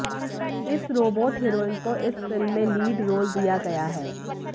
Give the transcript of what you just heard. इस robot heroine को इस फिल्म में लीड रोल दिया गया है